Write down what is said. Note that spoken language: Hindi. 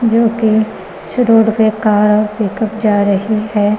जो कि उस रोड पे कार पिकअप जा रही है।